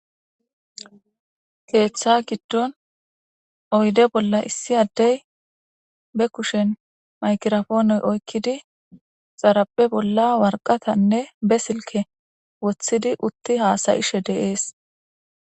Keeththa giddon oydde bolla issi addey ba kushen maykirapoone oykkidi xarapeza bolla worqatanne ba silke woththidi utti haasayishe dees.